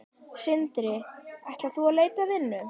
Sindri: Ætlar þú út að leita að vinnu?